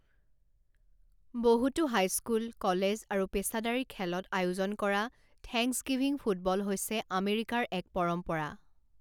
বহুতো high school, college আৰু পেছাদাৰী খেলত আয়োজন কৰা থেংকছগিভিং ফুটবল হৈছে আমেৰিকাৰ এক পৰম্পৰা।